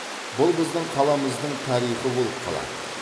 бұл біздің қаламыздың тарихы болып қалады